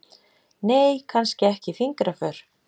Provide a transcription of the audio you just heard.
Nei, kannski ekki fingraför.